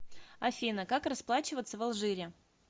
афина как расплачиваться в алжире